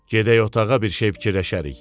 Gedək otağa bir şey fikirləşərik.